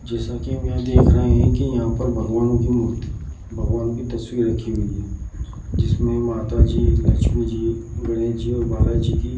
जैसा की मे देख रहे हैं की यहां पर भगवान की मूर्ति भगवान की तस्वीर रखी हुई है | जिसमे की माता जी लक्मी जी गणेश जी और बाला जी की --